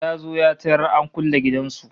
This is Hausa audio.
Ya zo ya tarar an kulle gidan su